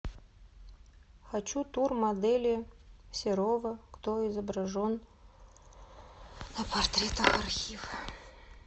хочу тур модели серова кто изображен на портретах архив